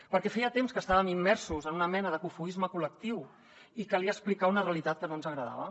perquè feia temps que estàvem immersos en una mena de cofoisme col·lectiu i calia explicar una realitat que no ens agradava